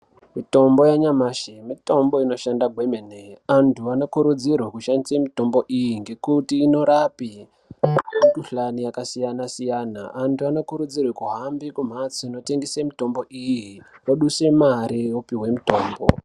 Mitombo yanyamashi ,mitombo inoshanda kwemene. Vanthu vanokurudzirwa kushandise mitombo iyi ngekuti inorapa mikhuhlani yakasiyana siyana. Antu anokurudzirwa kuhambe kumhatso dzinotengeswa mitombo iyi ,vodusa mari vopuwa mitombo.